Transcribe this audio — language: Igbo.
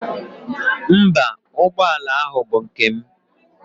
Mba, ụgbọala ahụ bụ nke m.